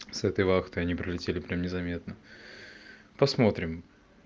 с этой вахтой они пролетели прям незаметно посмотрим